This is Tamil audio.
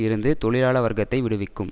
இருந்து தொழிலாள வர்க்கத்தை விடுவிக்கும்